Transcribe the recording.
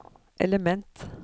element